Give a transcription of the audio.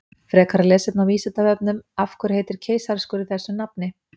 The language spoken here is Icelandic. Frekara lesefni á Vísindavefnum Af hverju heitir keisaraskurður þessu nafni?